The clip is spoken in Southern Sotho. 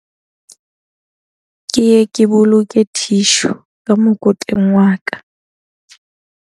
Ke ye ke boloke thishu ka mokotleng wa ka.